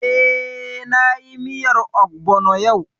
Eh, na yi miyar ogbono yau